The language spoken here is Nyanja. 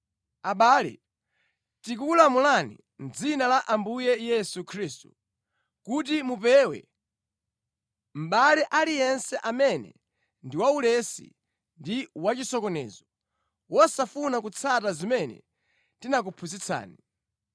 Abale, tikukulamulani mʼdzina la Ambuye Yesu Khristu, kuti mupewe mʼbale aliyense amene ndi waulesi ndi wachisokonezo, wosafuna kutsata zimene tinakuphunzitsani.